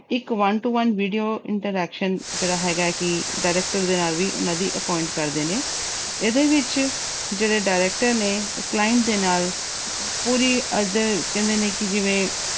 ਇੱਕ one to one video interaction ਜਿਹੜਾ ਹੈਗਾ ਹੈ ਕਿ director ਦੇ ਨਾਲ ਵੀ ਉਹਨਾਂ ਦੀ appoint ਕਰਦੇ ਨੇ ਇਹਦੇ ਵਿੱਚ ਜਿਹੜੇ director ਨੇ client ਦੇ ਨਾਲ ਪੂਰੀ ਕਹਿੰਦੇ ਨੇ ਕਿ ਜਿਵੇਂ